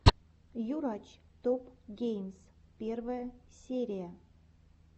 юрач топ геймс первая серия